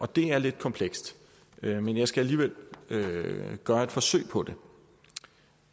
det er lidt komplekst men jeg skal alligevel gøre et forsøg på